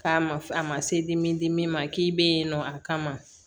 K'a ma a ma se dimi dimi ma k'i bɛ yen nɔ a kama